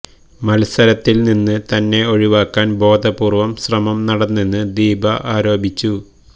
മത്സരത്തില് നിന്ന് തന്നെ ഒഴിവാക്കാന് ബോധപൂര്വ്വം ശ്രമം നടന്നെന്ന് ദീപ ആരോപിച്ചു